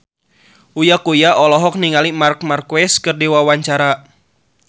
Uya Kuya olohok ningali Marc Marquez keur diwawancara